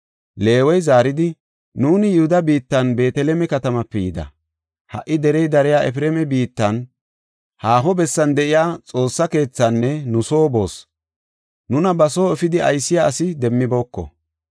Leewey zaaridi, “Nuuni Yihuda biittan Beeteleme katamaape yida. Ha77i derey dariya Efreema biittan, haaho bessan de7iya Xoossa keethinne nu soo boos. Nuna ba soo efidi aysiya asi demmibooko.